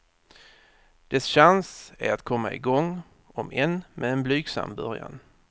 Dess chans är att komma i gång, om än med en blygsam början.